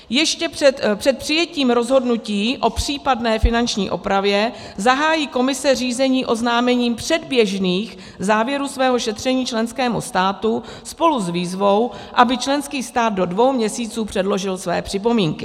Ještě před přijetím rozhodnutí o případné finanční opravě zahájí Komise řízení oznámením předběžných závěrů svého šetření členskému státu spolu s výzvou, aby členský stát do dvou měsíců předložil své připomínky.